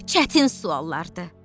Çətin suallardır.